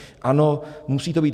Ano, musí to být.